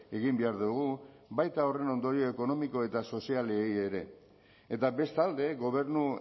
egin behar dugu baita horren ondorio ekonomiko eta sozialei ere eta bestalde gobernu